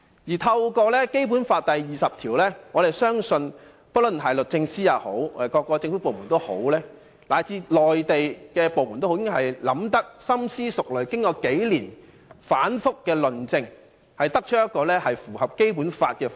引用《基本法》第二十條，我們相信不論是律政司、各政府部門，以至內地部門，均已深思熟慮，再經數年的反覆論證，才得出一個符合《基本法》的方案。